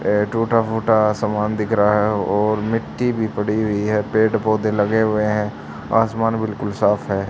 ये टूटा फूटा समान दिख रहा है और मिट्टी भी पड़ी हुई है पेड़ पौधे लगे हुए हैं आसमान बिल्कुल साफ है।